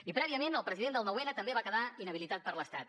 i prèviament el president del nou n també va quedar inhabilitat per l’estat